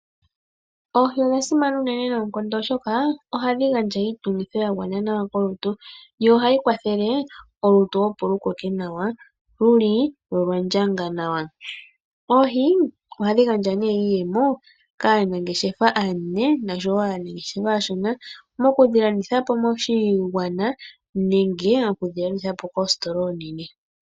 Oohi odha simana unene noonkondo oshoka onyama yadho ohayi gandja iitungitho ya gwana kolutu na ohayi kwathele olutu opo lukoke lu li muundjolowele lwo olwa ndjanga nawa. Ohadhi gandja iiyemo kaanangeshefa aanene naashona moku dhi landithapo koshigwana nenge koositola oonene.